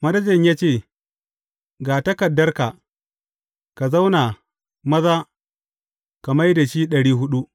Manajan ya ce, Ga takardarka, ka zauna maza ka mai da shi ɗari huɗu.’